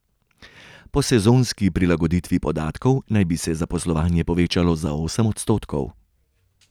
Po sezonski prilagoditvi podatkov naj bi se zaposlovanje povečalo za osem odstotkov.